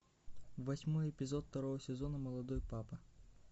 восьмой эпизод второго сезона молодой папа